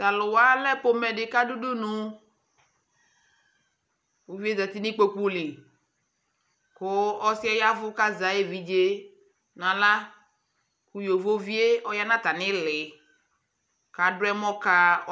Talʊwa alɛ pomɛdi kʊ adu udunu Uvi yɛ zati nʊ ikpoku li, kʊ ɔsɩyɛ yavʊ kʊ azɛ ayʊ evidze nʊ aɣla Kʊ yovovi yɛ ɔya atami ili